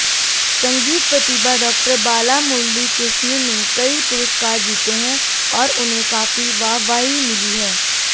संगीत प्रतिभा डॉ बालामुरलीकृष्ण ने कई पुरस्कार जीते हैं और उन्हें काफी वाहवाही मिली है